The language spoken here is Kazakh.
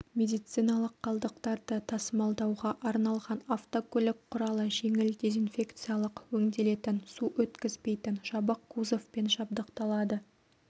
медициналық қалдықтарды тасымалдауға арналған автокөлік құралы жеңіл дезинфекциялық өңделетін су өткізбейтін жабық кузовпен жабдықталады